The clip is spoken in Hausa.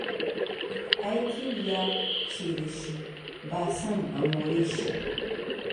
Ai ƙiuya ce da shi, ba son a more shi.